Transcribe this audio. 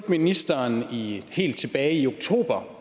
ministeren helt tilbage i oktober